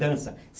Dança.